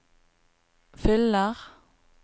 fyller